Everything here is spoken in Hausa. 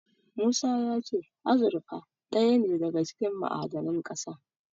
Musa ya ce azurfa ɗaya ne daga cikin ma'adanan ƙasa.